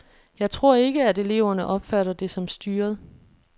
Jeg tror ikke, at eleverne opfatter det som styret.